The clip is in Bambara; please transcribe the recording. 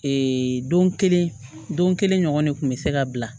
Ee don kelen don kelen ɲɔgɔn de kun be se ka bila